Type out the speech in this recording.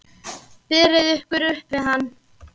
Berið ykkur upp við hann!